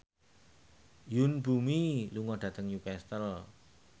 Yoon Bomi lunga dhateng Newcastle